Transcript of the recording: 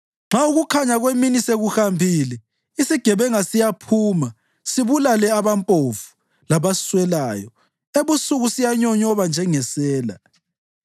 Nxa ukukhanya kwemini sekuhambile isigebenga siyaphuma sibulale abampofu labaswelayo; ebusuku siyanyonyoba njengesela.